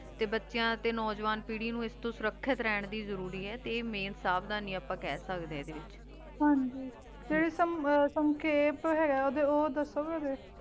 ਤੇ ਬਚੀਆਂ ਤੇ ਨੋ ਜਵਾਨ ਪੀਰੀ ਨੂ ਏਸ ਤੋਂ ਸ਼ੁਰਾਕ੍ਸ਼ਿਤ ਰਹਨ ਦੀ ਜ਼ਰੂਰੀ ਆਯ ਤੇ ਆਯ ਮੈਂ ਸਾਵਧਾਨੀ ਆਪਾਂ ਕਹ ਸਕਦੇ ਆਂ ਏਡੀ ਵਿਚ ਹਾਂਜੀ ਤੇ ਓਦੇ ਓ ਦਸੋ ਗੇ ਏਡੀ